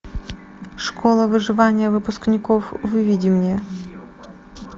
школа выживания выпускников выведи мне